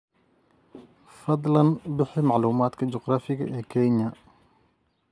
fadlan bixi macluumaadka juqraafi ee kenya